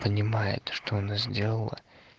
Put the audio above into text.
понимает что она сделала